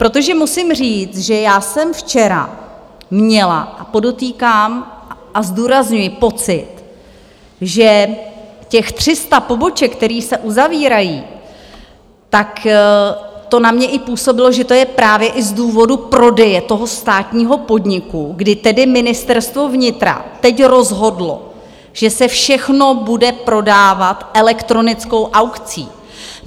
Protože musím říct, že já jsem včera měla, a podotýkám a zdůrazňuji, pocit, že těch 300 poboček, které se uzavírají, tak to na mě i působilo, že to je právě i z důvodu prodeje toho státního podniku, kdy tedy Ministerstvo vnitra teď rozhodlo, že se všechno bude prodávat elektronickou aukcí.